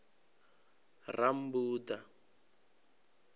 rammbuḓa